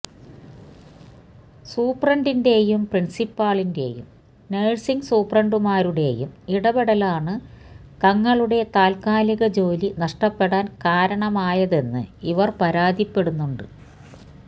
സൂപ്രണ്ടിന്റേയും പ്രിന്സിപ്പാളിന്റേയും നഴ്സിംഗ് സൂപ്രണ്ടുമാരുടേയും ഇടപെടലാണ് തങ്ങളുടെ താല്ക്കാലിക ജോലി നഷ്ടപ്പെടാന് കാരണമായതെന്ന് ഇവര് പരാതിപ്പെടുന്നുണ്ട്